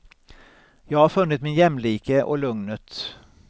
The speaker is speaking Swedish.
Jag har funnit min jämlike och lugnet.